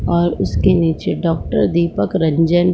और उसके नीचे डॉक्टर दीपक रंजन--